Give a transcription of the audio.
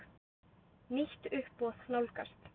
Nýtt uppboð nálgast.